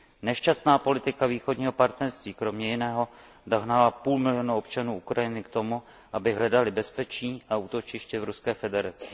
Nešťastná politika Východního partnerství kromě jiného dohnala půl milionu občanů Ukrajiny k tomu, aby hledali bezpečí a útočiště v Ruské federaci.